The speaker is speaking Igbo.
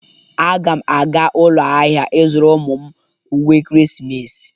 Aga m aga ụlọ ahịa ịzụrụ ụmụ m uwe ekeresimesi.